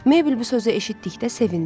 Meybl bu sözü eşitdikdə sevindi.